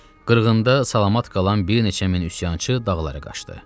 Qırğında salamat qalan bir neçə min üsyançı dağlara qaçdı.